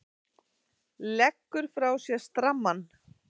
Leggur frá sér strammann.